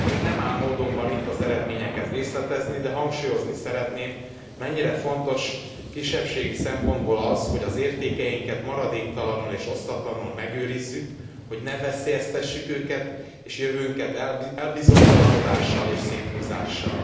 Nem áll módomban itt az eredményeket részletezni, de hangsúlyozni szeretném, mennyire fontos kisebbségi szempontból az, hogy az értékeinket maradéktalanul és osztatlanul megőrizzük, hogy ne veszélyeztessük őket és jövőnket elbizonytalanodással és széthúzással.